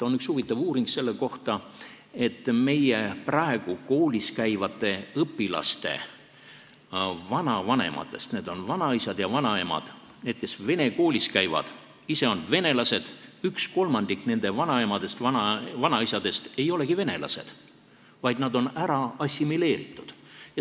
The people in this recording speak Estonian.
On üks huvitav uuring selle kohta, et üks kolmandik praegu koolis käivate õpilaste vanaemadest ja vanaisadest ei olegi venelased, vaid nad on ära assimileeritud.